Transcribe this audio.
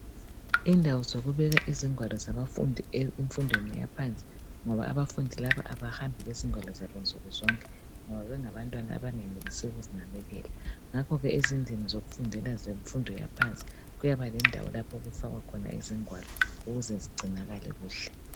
Indawo zokubeka izingwalo zabafundi emfundweni yaphansi, ngoba abafundi laba,, kabahambi lezingwalo zabo insuku zonke. Ngoba bengabantwana abangenelisiyo ukuzinakekela Ngakho ke emfundweni yaphansi, kumele kube lendawo, yokufaka khona izingwalo, ukuze zigcinakale kuhle.